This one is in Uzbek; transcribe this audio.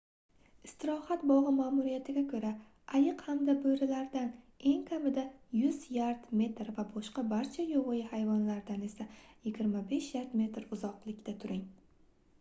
istirohat bog'i ma'muriyatiga ko'ra ayiq hamda bo'rilardan eng kamida 100 yard/metr va boshqa barcha yovvoyi hayvonlardan esa 25 yard/metr uzoqlikda turing!